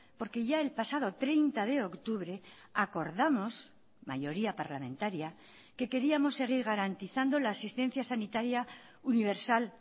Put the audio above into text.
porque ya el pasado treinta de octubre acordamos mayoría parlamentaria que queríamos seguir garantizando la asistencia sanitaria universal